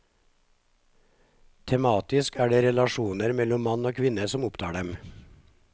Tematisk er det relasjoner mellom mann og kvinne som opptar dem.